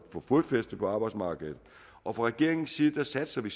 fodfæste på arbejdsmarkedet og fra regeringens side satser vi